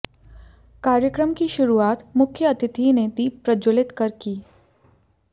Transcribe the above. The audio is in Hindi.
कार्य्रकम की शुरुआत मुख्यातिथि ने दीप प्रज्वलित कर की